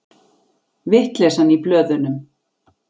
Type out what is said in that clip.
Vitleysan í blöðunum